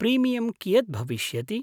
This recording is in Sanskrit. प्रिमियम् कियत् भविष्यति?